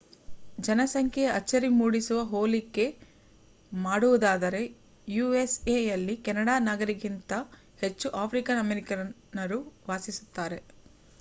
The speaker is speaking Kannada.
ಜನಸಂಖ್ಯೆಯ ಅಚ್ಚರಿ ಮೂಡಿಸುವ ಹೋಲಿಕೆ ಮಾಡುವುದಾದರೆ ಯೂಎಸ್ಎಯಲ್ಲಿ ಕೆನಡಾ ನಾಗರೀಕರಿಗಿಂತ ಹೆಚ್ಚು ಆಫ್ರಿಕನ್ ಅಮೇರಿಕನ್ನರು ವಾಸಿಸುತ್ತಾರೆ